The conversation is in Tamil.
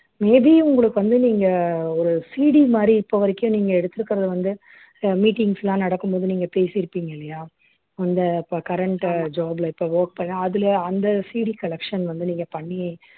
may be உங்களுக்கு வந்து நீங்க ஒரு CD மாதிரி இப்ப வரைக்கும் நீங்க எடுத்திருக்கிறது வந்து அஹ் meetings எல்லாம் நடக்கும் போது நீங்க பேசிருப்பீங்க இல்லையா அந்த இப்ப current job ல இப்ப work பண்ணி அதுல அந்த CDcollection வந்து நீங்க பண்ணி